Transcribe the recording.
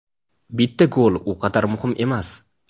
Bitta gol u qadar muhim emas.